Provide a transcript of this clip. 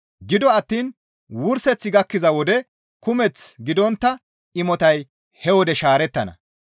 Gido attiin wurseththi gakkiza wode kumeth gidontta imotay he wode shaarettana.